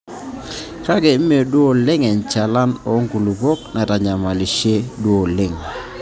Kake Mme duoo oleng enchalan oo nkulupuok naitanyamalisho duo oleng.